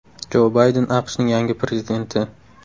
Jo Bayden AQShning yangi prezidenti.